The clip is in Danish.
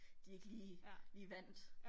De ikke lige lige vandt